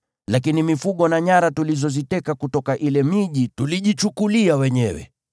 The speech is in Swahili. Lakini mifugo na nyara tulizoziteka kutoka ile miji tulijichukulia wenyewe.